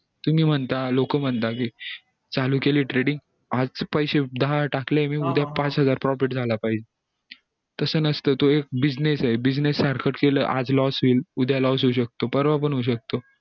तुम्ही म्हणता लोक म्हणता कि चालू केली threading आज पैसे दहा टाकले उद्या पाच हजार profit झाला पाहिजे तस नसत तो एक business ये business सारखा केलं आज loss होईल उद्या loss होऊ शकतो परवा पण होऊ शकतो